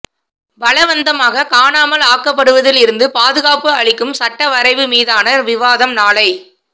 பலவந்தமாக காணாமல் ஆக்கப்படுவதில் இருந்து பாதுகாப்பு அளிக்கும் சட்டவரைவு மீதான விவாதம் நாளை